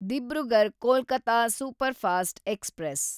Dibrugarh Kolkata superfast express